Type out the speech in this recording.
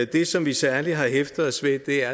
det som vi særlig har hæftet os ved er